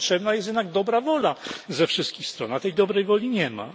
Tu potrzebna jest jednak dobra wola ze wszystkich stron, a tej dobrej woli nie ma.